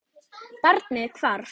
Barnið hvarf.